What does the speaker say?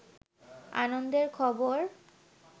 আনন্দের খবর